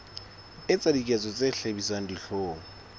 etsa diketso tse hlabisang dihlong